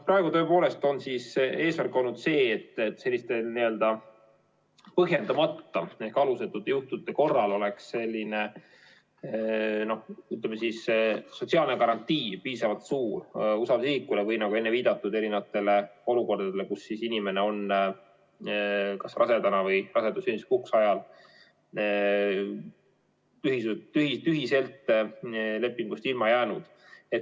Praegu tõepoolest on eesmärk olnud see, et selliste põhjendamata, alusetute juhtumite korral oleks piisavalt suur sotsiaalne garantii usaldusisikule või, nagu enne viitasin erinevatele olukordadele, kus inimene on kas rasedana või rasedus- ja sünnituspuhkuse ajal tühiselt lepingust ilma jäänud.